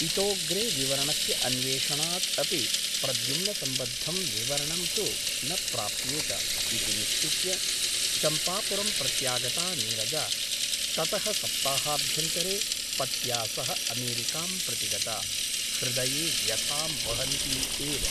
इतोऽग्रे विवरणस्य अन्वेषणात् अपि प्रद्युम्नसम्बद्धं विवरणं तु न प्राप्येत ' इति निश्चित्य चम्पापुरं प्रत्यागता नीरजा ततः सप्ताहाभ्यन्तरे पत्या सह अमेरिकां प्रतिगता , हृदये व्यथां वहन्ती एव ।